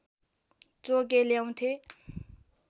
चोगे ल्याउँथे